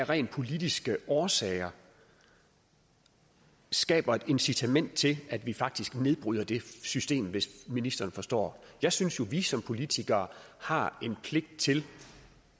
rent politiske årsager skaber et incitament til at vi faktisk nedbryder det system hvis ministeren forstår jeg synes jo at vi som politikere har en pligt til